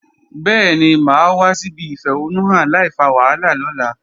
Bẹ́ẹ̀ni, mà á wá síbi ìfẹ̀hónúhàn láìfa wàhálà lọ́la